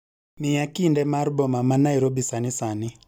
Miya kinde mar boma ma nairobi sani sani